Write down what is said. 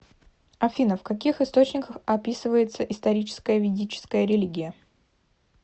афина в каких источниках описывается историческая ведическая религия